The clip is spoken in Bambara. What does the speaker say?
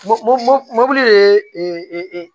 Mɔ mo mobili de ye e e e e e e